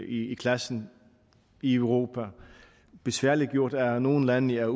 i klassen i europa besværliggjort af at nogle lande er